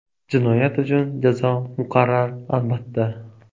Jinoyat uchun jazo muqarrar, albatta.